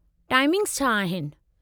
Timings छा आहिनि?